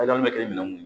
bɛ kɛ minɛn mun